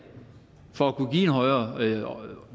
for at kunne give en højere